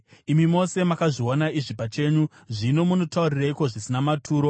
Imi mose makazviona izvi pachenyu. Zvino munotaurireiko zvisina maturo?